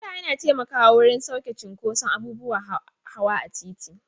Gada yana taimakawa wurin sauƙaƙe cinkoson abubuwan hawa a titi.